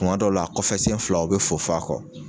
Kuma dɔ la a kɔfɛ sen fila u bɛ fofo a kɔ.